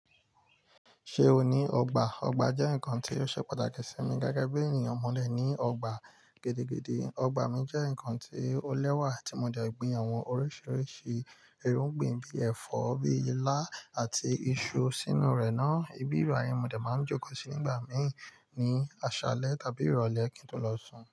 Ṣé o ní ọgbà? Ọgbà jẹ́ ǹnkan tí ó ṣe pàtàkì sí mi gẹ́gẹ́ bí ènìyàn mọ̀ dẹ́ ní ọgbà gidi gidi. Ọgbà mi jẹ́ ǹnkan tí ó lẹ́wà tí mo dẹ gbìn àwọ̀n oríṣiríṣi irúgbìn bí ẹ̀fọ́, bí ilá àti iṣu sínú rẹ̀ ná. Ìbí bai ni mọ̀ de máa ń jókòó sí nígbà míì ní àṣálẹ́ tàbí ìrọ̀lẹ́ kí n tó lọ sùn.